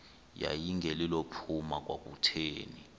yayingelilo phupha kwakutheni